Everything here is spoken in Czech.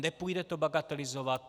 Nepůjde to bagatelizovat.